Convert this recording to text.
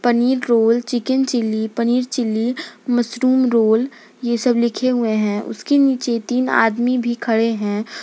निक roll chicken chilli paneer chilli mushroom roll ये सब लिखे हुए हैं उसके नीचे तीन आदमी भी खड़े हैं।